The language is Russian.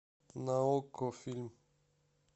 на окко фильм